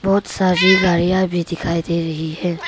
बहोत सारी गाड़िया भी दिखाई दे रही है।